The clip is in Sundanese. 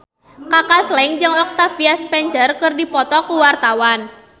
Kaka Slank jeung Octavia Spencer keur dipoto ku wartawan